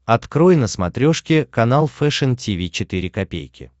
открой на смотрешке канал фэшн ти ви четыре ка